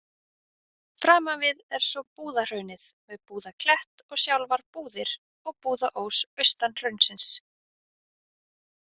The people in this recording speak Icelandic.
Framanvið er svo Búðahraunið með Búðaklett og sjálfar Búðir og Búðaós austan hraunsins.